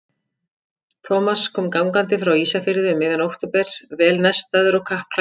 Thomas kom gangandi frá Ísafirði um miðjan október, vel nestaður og kappklæddur.